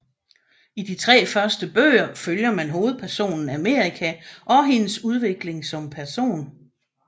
I de tre første bøger følger man hovedpersonen America og hendes udvikling som person